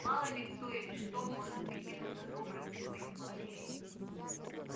мало ли кто или что может прикинуться добрым и понимающим